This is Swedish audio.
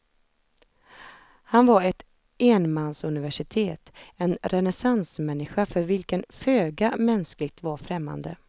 Han var ett enmansuniversitet, en renässansmänniska för vilken föga mänskligt var främmande.